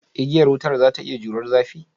Igiya wutar za ta iya jurar zafi?